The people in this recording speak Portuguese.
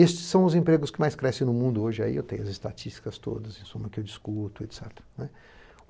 Estes são os empregos que mais crescem no mundo hoje, aí eu tenho as estatísticas todas, em suma, que eu discuto, etc.